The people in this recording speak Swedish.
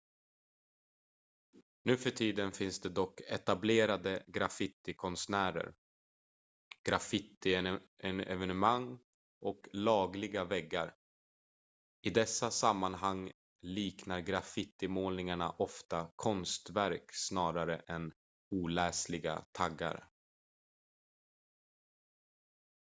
"nuförtiden finns det dock etablerade graffitikonstnärer graffitienenemang och "lagliga" väggar. i dessa sammanhang liknar graffitimålningarna ofta konstverk snarare än oläsliga taggar.